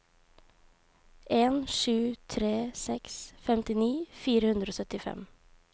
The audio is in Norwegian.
en sju tre seks femtini fire hundre og syttifem